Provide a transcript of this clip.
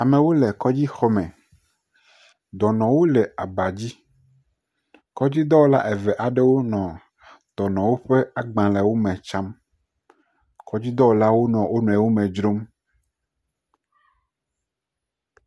Amewo le kɔdzixɔ me, dɔnɔwo le aba dzi, kɔdzidɔwɔla eve aɖewo nɔ dɔnɔwo ƒe agbalẽwo tsam, kɔdzidɔwɔlawo nɔ wo nɔewo me dzrom.